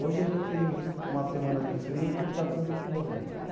Hoje a gente tem uma semana de frio e to está todo mundo morrendo.